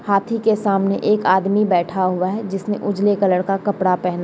हाथी के सामने एक आदमी बैठा हुआ है जिसने उजला कलर का कपड़ा पेहना --